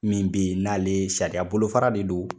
Min bɛ ye n'ale sariya bolo fara de do.